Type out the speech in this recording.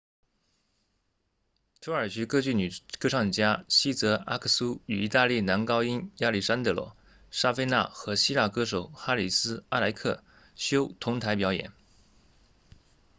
土耳其歌剧女歌唱家茜泽阿克苏 sezen aksu 与意大利男高音亚历山德罗沙费纳 alessandro safina 和希腊歌手哈里斯阿莱克修 haris alexiou 同台表演